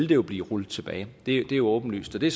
jo blive rullet tilbage det er jo åbenlyst og det